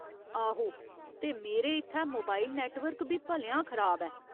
आहो, ते मेरे इत्थै मोबाइल नैट्टवर्क बी भलेआं खराब ऐ।